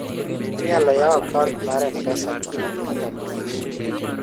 inaylo yawo account mar mpesa kin gi kitambulisho